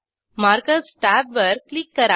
markers टॅबवर click करा